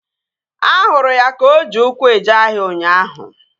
Ahụrụ ya ka o ji ụkwụ eje ahịa ụnyaahụ